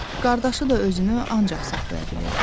Qardaşı da özünü ancaq saxlaya bilirdi.